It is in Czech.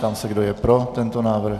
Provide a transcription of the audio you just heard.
Ptám se, kdo je pro tento návrh.